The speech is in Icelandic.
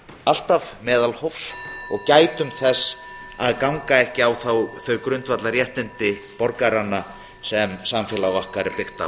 alltaf meðalhófs og gætum þess að ganga ekki á þau grundvallarréttindi borgaranna sem samfélag okkar er byggt á